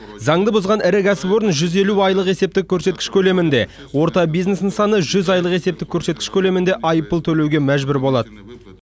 заңды бұзған ірі кәсіпорын жүз елу айлық есептік көрсеткіш көлемінде орта бизнес нысаны жүз айлық есептік көрсеткіш көлемінде айыппұл төлеуге мәжбүр болады